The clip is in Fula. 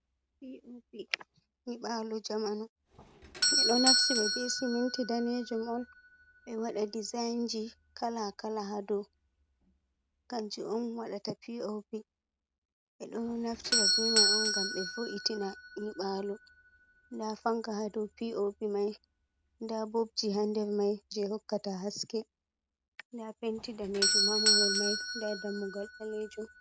Nyibalu zamanu, ɓeɗo naftira ba be siminti danejum on be wada dezaynji kala kala hado kanji on waɗata, pop e ɗo naftira ɓe mai on ngam be vo’itina nyiɓalo, nda fanka hado pop mai, nda bobji ha nder mai je hokkata haske, nda penti danejum ha mawhol mai, nda dammugol balejum.